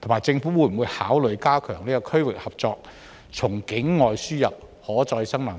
政府會否考慮加強區域合作，從境外輸入可再生能源？